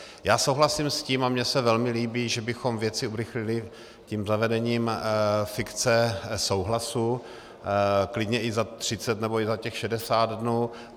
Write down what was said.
Já souhlasím s tím a mně se velmi líbí, že bychom věci urychlili tím zavedením fikce souhlasu, klidně i za 30 nebo i za těch 60 dnů.